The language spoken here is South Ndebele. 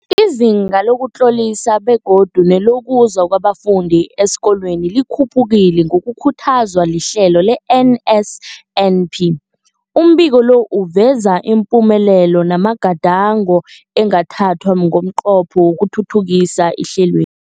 Izinga lokuzitlolisa begodu nelokuza kwabafundi esikolweni likhuphukile ngokukhuthazwa lihlelo le-NSNP. Umbiko lo uveza ipumelelo namagadango angathathwa ngomnqopho wokuthuthukisa ihlelwe